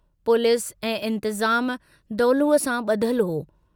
Police ऐं इंतज़ाम दौलूअ सां बुधल हो।